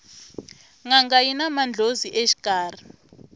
nanga yina mandlhozi exikarhi